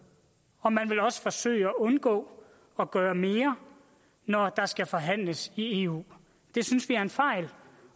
og man vil også forsøge at undgå at gøre mere når der skal forhandles i eu det synes vi er en fejl